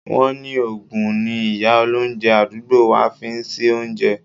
Wọ́n ni òògùn ni ìyá olóunjẹ àdúgbò wa ń fi sí oúnjẹ